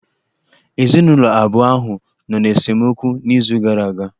Ezinụlọ abụọ ahụ nọ n'esemokwu n'izu gara aga.